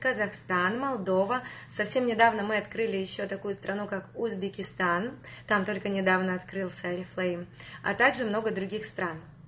узбекистан только недавно открылся орифлейм а так же много других стран